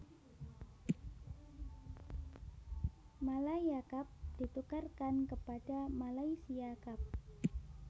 Malaya Cup ditukarkan kepada Malaysia Cup